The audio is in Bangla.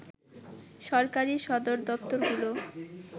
সরকারি সদরদপ্তরগুলো